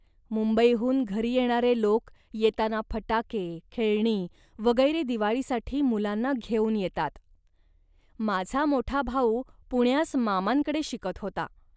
मुंबईहून घरी येणारे लोक येताना फटाके, खेळणी वगैरे दिवाळीसाठी मुलांना घेऊन येतात. माझा मोठा भाऊ पुण्यास मामांकडे शिकत होता